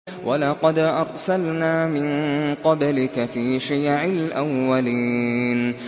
وَلَقَدْ أَرْسَلْنَا مِن قَبْلِكَ فِي شِيَعِ الْأَوَّلِينَ